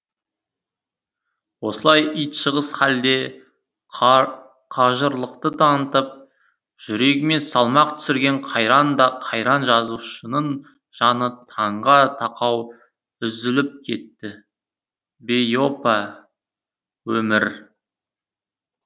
осылай итжығыс халде қажырлық танытып жүрегіне салмақ түсірген қайран да қайран жазушының жаны таңға тақау үзіліп кетті бейопа өмір